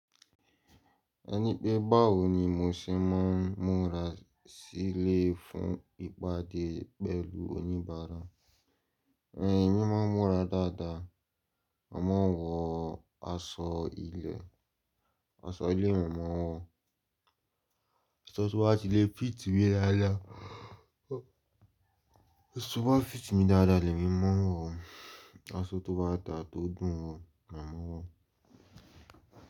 Ẹni pé báwo ni mo ṣe máa ń múra sílé fún ìpàdé pẹ̀lú oníbàárà. Emi máa ń múra dáadáa, mo màá nwọ aṣọ ilẹ̀, aṣọ ilé mo màá wọ̀, Aso tó bá ti lè fit mi dáadáa lèmi máa wọ̀, aṣọ tó bá daa tó dùn ún wo lèmi máa n wọ̀